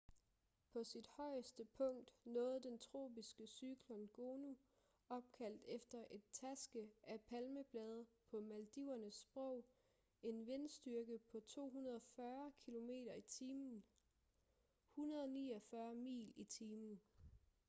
på sit højeste punkt nåede den tropiske cyklon gonu opkaldt efter en taske af palmeblade på maldivernes sprog en vindstyrke på 240 kilometer i timen 149 mil i timen